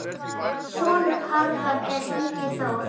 Sonur Harðar er Ingi Þór.